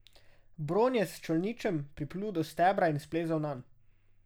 Bron je s čolničem priplul do stebra in splezal nanj.